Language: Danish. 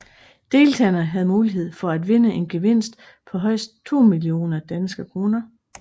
Deltagerne havde mulighed for at vinde en gevinst på højst 2 millioner DKK